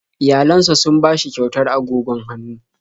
Iyayensa sun ba shi kyautar agogon hannu